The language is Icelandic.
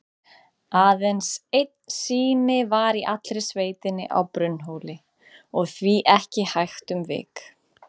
Aðeins einn sími var í allri sveitinni, á Brunnhóli, og því ekki hægt um vik.